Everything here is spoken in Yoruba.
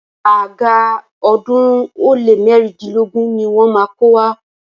Àga ọ̀ọ́dúnrún ó lé mẹ́rìndínlógún ni wọ́n má a kó wá.